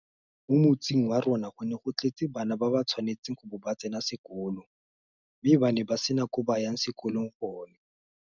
Mo motseng wa rona go ne go tletse bana ba ba tshwanetseng go bo ba tsena sekolo mme ba ne ba sena ko ba ka yang sekolong gone.